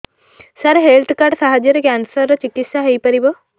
ସାର health card ସାହାଯ୍ୟରେ cancer ର ଚିକିତ୍ସା ହେଇପାରିବ